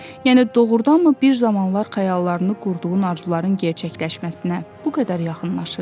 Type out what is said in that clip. Yəni doğurdanmı bir zamanlar xəyallarını qurduğun arzuların gerçəkləşməsinə bu qədər yaxınlaşıb?